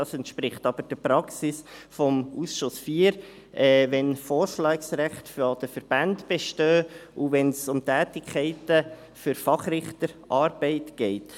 Dies entspricht aber der Praxis des Ausschusses IV, wenn Vorschlagsrechte der Verbände bestehen, und wenn es um Tätigkeiten für Fachrichter geht.